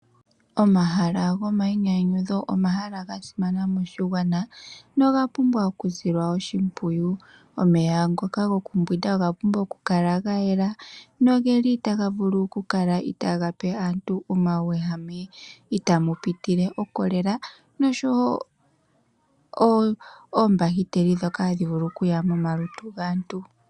Omahala gomayinyanyudho, omahala ga simana moshiwana noga pumbwa okusila oshimpwiyu. Omeya ngoka gokumbwinda oga pumbwa okukala ga yela nogeli taga vulu okukala itaga pe aantu omauwehame itamu pitile ocolera nosho oombakiteli ndhoka tadhi vulu okuya momalutu gaantu.